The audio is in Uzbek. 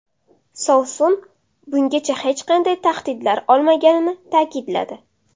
Sovsun bungacha hech qanday tahdidlar olmaganini ta’kidladi.